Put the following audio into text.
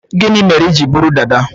Gini mere iji buru dada?